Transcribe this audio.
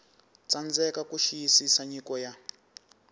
tsandzeka ku xiyisisa nyiko ya